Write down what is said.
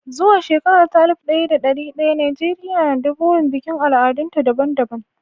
Zuwa shekara ta alif ɗaya da ɗari ɗaya, Najeriya na da burin bikin al'adunta daban-daban.